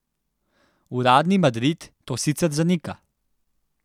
Uradni Madrid to sicer zanika.